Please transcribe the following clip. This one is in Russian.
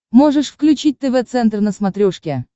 можешь включить тв центр на смотрешке